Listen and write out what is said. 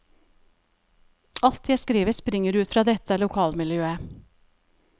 Alt jeg skriver springer ut fra dette lokalmiljøet.